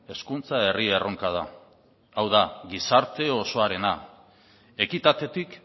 hezkuntza herri erronka da hau da gizarte osoarena ekitatetik